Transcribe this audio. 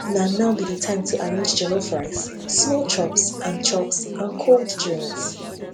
na now be time to arrange jollof rice small chops and chops and cold drinks